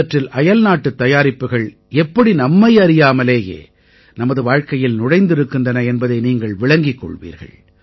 இவற்றில் அயல்நாட்டுத் தயாரிப்புகள் எப்படி நம்மை அறியாமலேயே நமது வாழ்க்கையில் நுழைந்திருக்கின்றன என்பதை நீங்கள் விளங்கிக் கொள்வீர்கள்